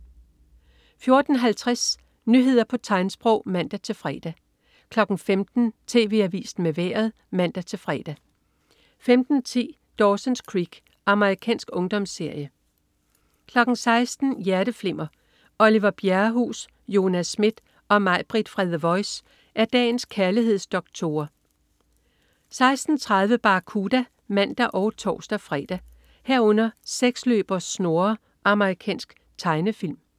14.50 Nyheder på tegnsprog (man-fre) 15.00 TV Avisen med Vejret (man-fre) 15.10 Dawson's Creek. Amerikansk ungdomsserie 16.00 Hjerteflimmer. Oliver Bjerrehuus, Jonas Schmidt og Mai-Britt fra "The Voice" er dagens kærlighedsdoktorer 16.30 Barracuda (man og tors-fre) 16.30 Seksløber Snurre. Amerikansk tegnefilm